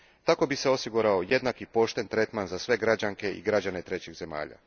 Tako bi se osigurao jednak i pošten tretman za sve građanke i građane trećih zemalja.